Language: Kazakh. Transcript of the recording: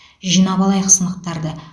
жинап алайық сынықтарды